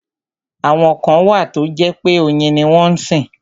Àwọn kan wà tó jẹ́ pé oyin ni wọ́n sìn.